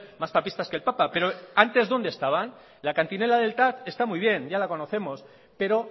más papistas que el papa pero antes dónde estaban la cantinela del tav está muy bien ya la conocemos pero